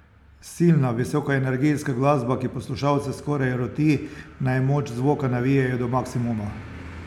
Silna, visokoenergijska glasba, ki poslušalce skoraj roti, naj moč zvoka navijejo do maksimuma.